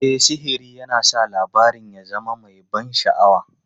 E, sihiri yana sa labarin ya zama mai ban sha'awa.